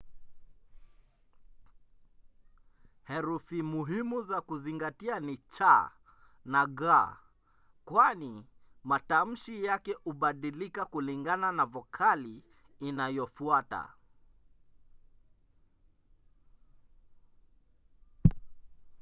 herufi muhimu za kuzingatia ni c na g kwani matamshi yake hubadilika kulingana na vokali inayofuata